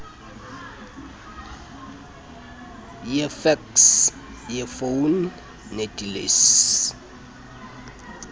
yefeksi yefoni nedilesi